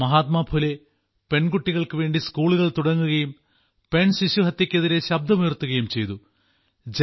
മഹാത്മാ ഫുലെ പെൺകുട്ടികൾക്ക് വേണ്ടി സ്കൂളുകൾ തുടങ്ങുകയും പെൺശിശുഹത്യയ്ക്കെതിരെ ശബ്ദമുയർത്തുകയും ചെയ്തു